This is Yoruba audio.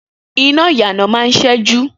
Iná ìyànà máa ń ṣẹ́jú